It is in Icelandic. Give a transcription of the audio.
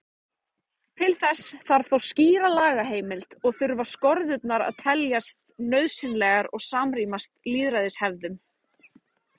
Til þess þarf þó skýra lagaheimild og þurfa skorðurnar að teljast nauðsynlegar og samrýmast lýðræðishefðum.